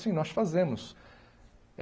Sim, nós fazemos.